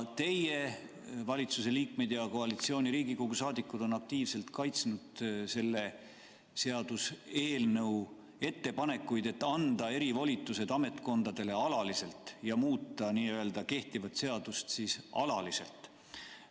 Teie valitsuse liikmed ja koalitsiooni Riigikogu saadikud on aktiivselt kaitsnud selle seaduseelnõu ettepanekuid anda erivolitused ametkondadele alaliselt, muuta kehtivat seadust alaliselt.